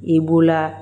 I b'o laa